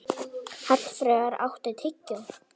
Hallfreður, áttu tyggjó?